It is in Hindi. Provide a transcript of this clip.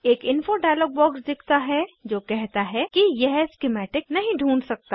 एक इन्फो डायलॉग बॉक्स दिखता है जो कहता है कि यह स्किमैटिक नहीं ढूँढ सकता